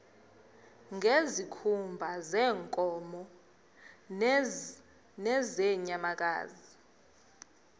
ngezikhumba zeenkomo nezeenyamakazi